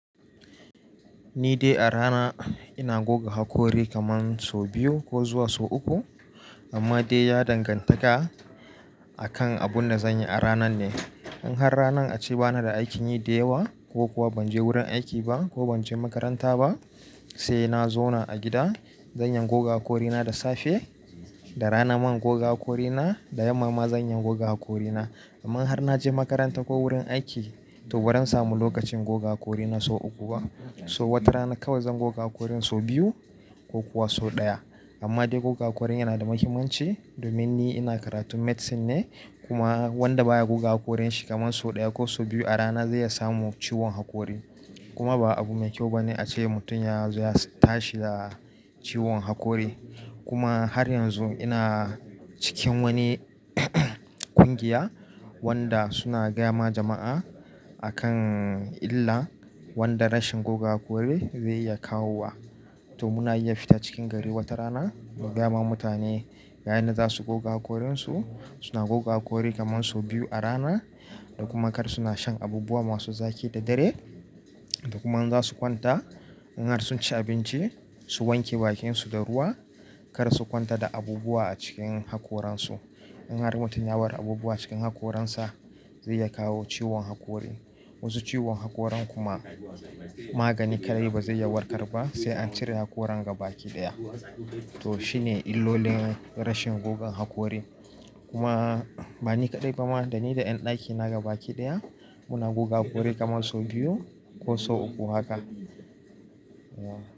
Ni dai a rana ina goga hakori kaman sau biyu ko zuwa sau uku. Amma dai ya dangantaka akan abun da zanyi a ranan ne. In har ranan ace bana da aikin yi da yawa ko kuwa ban je wurin aiki ba ko ban je makaranta ba, sai na zauna a gida zanyi goga haƙorina da safe, da rana man goga haƙorina, da yamma ma zan iya goga haƙorina. Amma in har naje makaranta ko wurin aiki, to ba zan samu lokacin goga hakorina sau uku ba. So wata rana kawai zan goga hakorin sau biyu ko kuwa sau ɗaya. Amma dai goga hakorin yana da muhimmanci domin ni ina karatun medicine ne kuma wanda baya goga haƙorin shi kaman sau ɗaya ko sau biyu a rana zai iya samu ciwon haƙori. Kuma ba abu mai kyau bane ace mutum ya zo ya tashi da ciwon hakori. Kuma har yanzu ina cikin wani ƙungiya wanda suna gaya ma jama'a akan illa wanda rashin goga hakori zai iya kawo wa. To muna iya fita cikin gari wata rana mu gaya wa mutane ga yanda za su goga hakorinsu. Suna goga hakori kaman sau biyu a rana da kuma kar suna shan abubuwa masu zaƙi da dare. Da kuma in za su kwanta in har sun ci abinci su wanke bakinsu da ruwa kar su kwanta da abubuwa a cikin hakoransu. In har mutum ya bar abubuwa cikin hakoransa zai iya kawo ciwon hakori. Wasu ciwon hakorin kuma magani kaɗai ba zai iya warkar ba sai an cire hakoran ga baki ɗaya. To shine illolin rashin goga hakori. Kuma ba ni kaɗai ba ma da ni da en ɗaki naga baki ɗaya muna goga hakori kaman sau biyu ko sau uku haka.